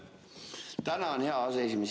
Tänan, hea aseesimees!